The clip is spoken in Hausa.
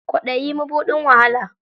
Kwaɗayi, mabuɗin wahala.